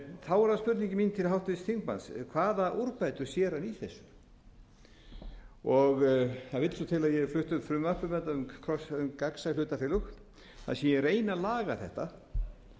það spurningin mín til háttvirts þingmanns hvaða úrbætur sér hann í þessu það vill svo til að ég hef flutt frumvarp um gagnsæ hlutafélög þar sem ég reyni að laga þetta